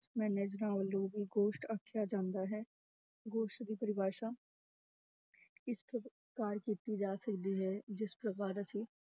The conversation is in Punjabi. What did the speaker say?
ਵੱਲੋਂ ਵੀ ਗੋਸ਼ਟ ਆਖਿਆ ਜਾਂਦਾ ਹੈ, ਗੋਸ਼ਟ ਦੀ ਪਰਿਭਾਸ਼ਾ ਇਸ ਕੀਤੀ ਜਾ ਸਕਦੀ ਹੈ, ਜਿਸ